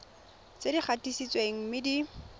tse di gatisitsweng mme di